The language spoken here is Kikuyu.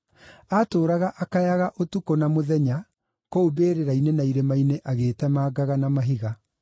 Aatũũraga akayaga ũtukũ na mũthenya, kũu mbĩrĩra-inĩ na irĩma-inĩ agĩĩtemangaga na mahiga.